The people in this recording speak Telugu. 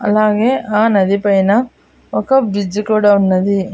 అలాగే ఆ నది పైన ఒక బ్రిడ్జి కూడా ఉన్నది.